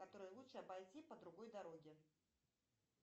которая лучше обойти по другой дороге